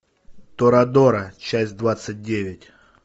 торадора часть двадцать девять